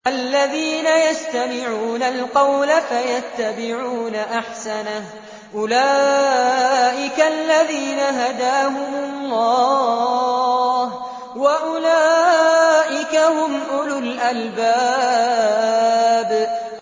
الَّذِينَ يَسْتَمِعُونَ الْقَوْلَ فَيَتَّبِعُونَ أَحْسَنَهُ ۚ أُولَٰئِكَ الَّذِينَ هَدَاهُمُ اللَّهُ ۖ وَأُولَٰئِكَ هُمْ أُولُو الْأَلْبَابِ